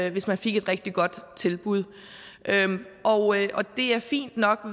et rigtig rigtig godt tilbud og det er fint nok